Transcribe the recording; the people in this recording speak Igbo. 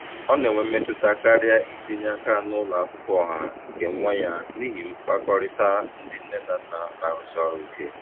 Ọ na-enwe mmetụta karịa itinye aka na ụlọ akwụkwọ ọha nke nwa ya n'ihi mkpakọrịta ndị nne na nna na-arụsi ọrụ ike.